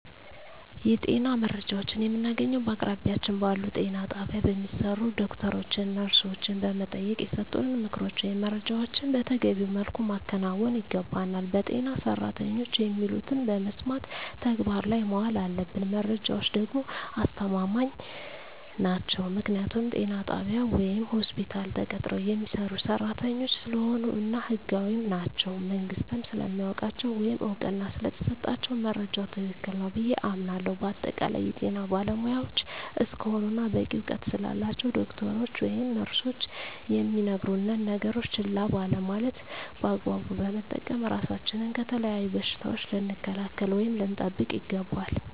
የጤና መረጃዎችን የምናገኘዉ በአቅራቢያችን ባሉ ጤና ጣቢያ በሚሰሩ ዶክተሮችን ነርሶችን በመጠየቅና የሰጡንን ምክሮች ወይም መረጃዎችን መተገቢዉ መልኩ ማከናወን ይገባናል በጤና ሰራተኖች የሚሉትን በመስማት ተግባር ላይ ማዋል አለብን መረጃዎች ደግሞ አስተማማኝ ናቸዉ ምክንያቱም ጤና ጣቢያ ወይም ሆስፒታል ተቀጥረዉ የሚሰሩ ሰራተኞች ስለሆኑ እና ህጋዊም ናቸዉ መንግስትም ስለሚያዉቃቸዉ ወይም እዉቅና ስለተሰጣቸዉ መረጃዉ ትክክል ነዉ ብየ አምናለሁ በአጠቃላይ የጤና ባለሞያዎች እስከሆኑና በቂ እዉቀት ስላላቸዉ ዶክተሮች ወይም ነርሶች የሚነግሩነን ነገሮች ችላ ባለማለት በአግባቡ በመጠቀም ራሳችንን ከተለያዩ በሽታዎች ልንከላከል ወይም ልንጠብቅ ይገባል